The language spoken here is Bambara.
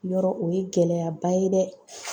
Yɔrɔ o ye gɛlɛyaba ye dɛ.